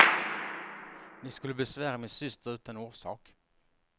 Ni skulle besvära min syster utan orsak.